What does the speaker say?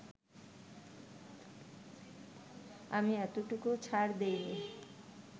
আমি এতটুকুও ছাড় দেইনি